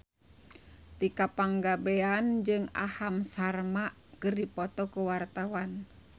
Tika Pangabean jeung Aham Sharma keur dipoto ku wartawan